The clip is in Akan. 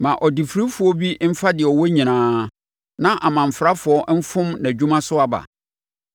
Ma ɔdefirifoɔ bi mfa deɛ ɔwɔ nyinaa; na amanfrafoɔ mfom nʼadwuma so aba.